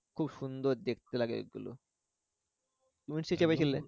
খুব সুন্দর দেখতে লাগে এগুলো